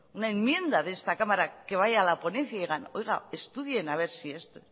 una enmienda de esta cámara que vaya a la ponencia y digan oiga estudien a ver si esto